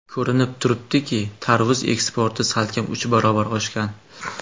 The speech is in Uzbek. Ko‘rinib turibdiki, tarvuz eksporti salkam uch barobar oshgan.